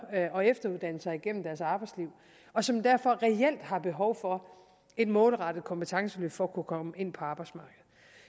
og efteruddanne sig igennem deres arbejdsliv og som derfor reelt har behov for et målrettet kompetenceløft for at kunne komme ind på arbejdsmarkedet